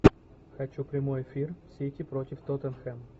хочу прямой эфир сити против тоттенхэм